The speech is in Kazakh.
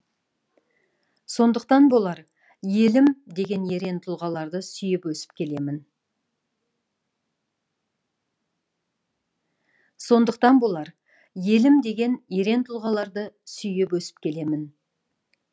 сондықтан болар елім деген ерен тұлғаларды сүйіп өсіп келемін